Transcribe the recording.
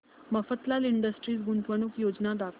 Mafatlal industries गुंतवणूक योजना दाखव